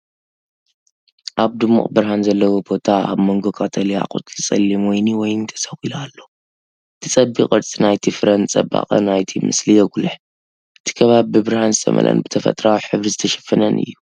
ኣብ ድሙቕ ብርሃን ዘለዎ ቦታ፡ ኣብ መንጎ ቀጠልያ ቆጽሊ ጸሊም ወይኒ ወይኒ ተሰቒሉ ኣሎ፤ እቲ ጸቢብ ቅርጺ ናይቲ ፍረ ንጽባቐ ናይቲ ምስሊ የጉልሕ። እቲ ከባቢ ብብርሃን ዝተመልአን ብተፈጥሮኣዊ ሕብሪ ዝተሸፈነን እዩ።